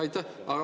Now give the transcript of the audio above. Aitäh!